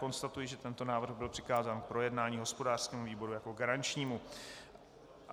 Konstatuji, že tento návrh byl přikázán k projednání hospodářskému výboru jako garančnímu.